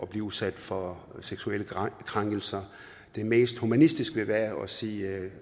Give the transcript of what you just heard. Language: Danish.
blive udsat for seksuelle krænkelser det mest humanistiske vil være at sige at